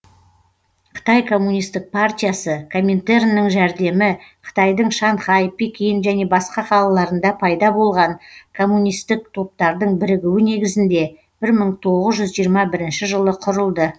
қытай коммунистік партиясы коминтерннің жәрдемі қытайдың шанхай пекин және басқа да қалаларында пайда болған коммунистік топтардың бірігуі негізінде бір мың тоғыз жүз жиырма бірінші жылы құрылды